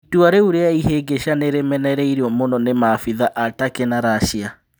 Itua rĩũ rĩa ihĩngĩca nĩ rĩmenereirio mũno nĩ maabithaa a Takĩ na Rasia